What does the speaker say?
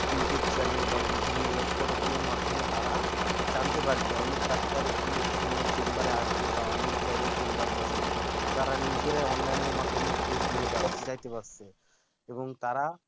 youtube channel বা বিভিন্ন web protocal মাধ্যমে তারা জানতে পারে যে অমুক doctor অমুক সময়ে chamber আসবে বা অমুক জায়গায় chamber বসে তারা নিজেরাই online মাধ্যমেই খোঁজ নিয়ে যাইতে পারতেছে এবং তারা